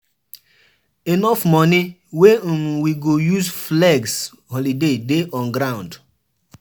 Enough money wey um we go use flex holiday dey on ground.